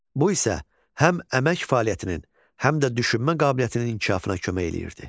Bu isə həm əmək fəaliyyətinin, həm də düşünmə qabiliyyətinin inkişafına kömək eləyirdi.